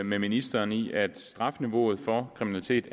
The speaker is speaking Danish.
med ministeren i at strafniveauet for kriminalitet